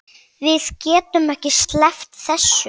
Við getum ekki sleppt þessu.